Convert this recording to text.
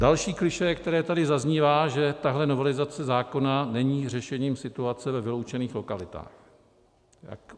Další klišé, které tady zaznívá, že tahle novelizace zákona není řešením situace ve vyloučených lokalitách.